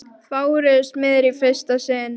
Fáir eru smiðir í fyrsta sinn.